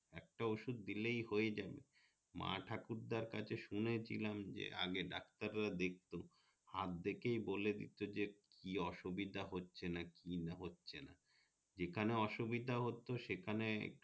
একটা ওষুধ দিলেই হয়ে যাবে মা ঠাকুর দার কাছে শুনেছিলাম যে আগে ডাক্তার রা দেখতো হাত দেখেই বলে দিতো যে কি অসুবিধা হচ্ছে কি না হচ্ছে না যেখানে অসুবিধা হতো সেখানে